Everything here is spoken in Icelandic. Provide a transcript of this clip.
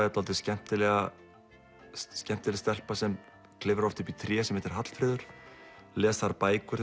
er dálítið skemmtileg skemmtileg stelpa sem klifrar upp í tré sem heitir Hallfreður les þar bækur